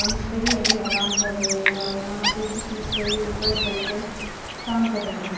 मिस्त्री अभी अराम कर रहे है और यहाँ पे कुछ मिस्त्री उपर चढ़ कर काम कर रहे है।